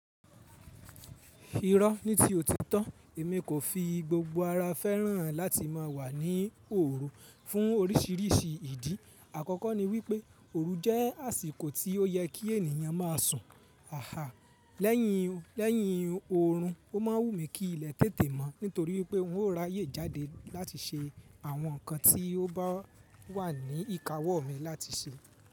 Irọ́ ní ti ó ti tọ́, èmi kò fi gbogbo ara fẹ́ràn láti má a wà ní òru fún oríṣìíríṣìí ìdí. Àkọ́kọ́ ni wípé òru jẹ́ àsìkò tí ó yẹ kí ènìyàn má a sùn. Àáà lẹ́yìn òórùn ó ma wù mí kí ilẹ̀ tètè mọ́ nítorí pé n ó ra ayé jáde láti ṣe àwọn nǹkan tí ó bá wà ní ìkáwọ́ mi láti ṣe.